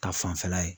Ka fanfɛla ye